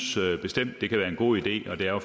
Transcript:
bestemt det kan være en god idé og det er